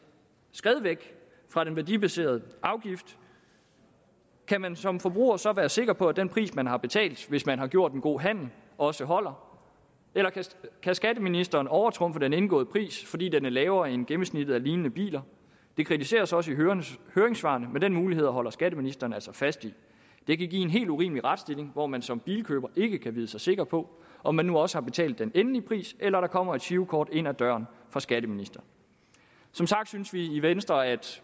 skred væk fra den værdibaserede afgift kan man som forbruger så være sikker på at den pris som man har betalt hvis man har gjort en god handel også holder eller kan skatteministeren overtrumfe den indgåede pris fordi den er lavere end gennemsnittet for lignende biler det kritiseres også i høringssvarene men den mulighed holder skatteministeren altså fast i det kan give en helt urimelig retsstilling hvor man som bilkøber ikke kan vide sig sikker på om man nu også har betalt den endelige pris eller der kommer et girokort ind ad døren fra skatteministeren som sagt synes vi i venstre at